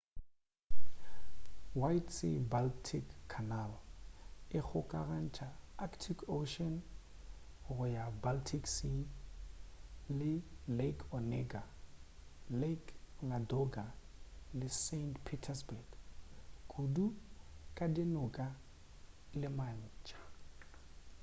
white sea-baltic canal e kgokagantša arctic ocean go ya baltic sea ka lake onega lake ladoga le saint petersburg kudu ka dinoka le matsha